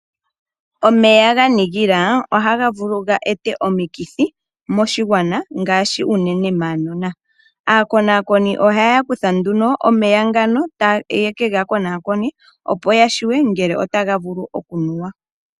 Omeya ga kaka ohaga vulu oku eta omikithi moshigwana ngaashi unene maanona. Aakonaakoni ohaya kutha nduno omeya ngano ye ke ga konaakone, opo ya tseye ngele otaga vulu okunuwa.